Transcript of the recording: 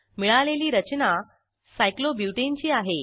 मिळालेली रचना सायक्लोब्युटाने ची आहे